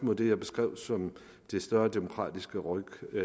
mod det jeg beskrev som et større demokratisk ryk i